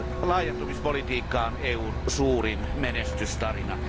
Laajentumispolitiikka on EUn suurin menestystarina.